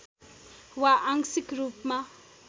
वा आंशिक रूपमा